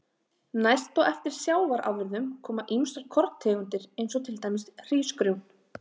Næst á eftir sjávarafurðum koma ýmsar korntegundir eins og til dæmis hrísgrjón.